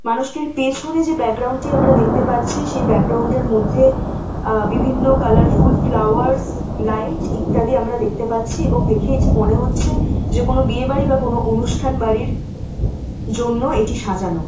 মানুষটির পেছনে যে ব্যাকগ্রাউন্ড টি আমরা দেখতে পাচ্ছি সেই ব্যাকগ্রাউন্ড টির মধ্যে আহ বিভিন্ন কার্লারফুল ফ্লাওয়ারস লাইট ইত্যাদি আমরা দেখতে পাচ্ছি এবং দেখে এটি মনে হচ্ছে যে কোন বিয়েবাড়ি বা কোন অনুষ্ঠান বাড়ির জন্য এটি সাজানো ।